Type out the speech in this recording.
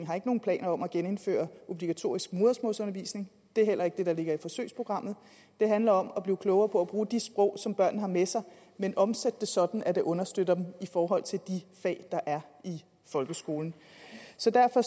har nogen planer om at genindføre obligatorisk modersmålsundervisning det er heller ikke det der ligger i forsøgsprogrammet det handler om at blive klogere på at bruge de sprog som børnene har med sig men omsætte det sådan at det understøtter dem i forhold til de fag der er i folkeskolen så derfor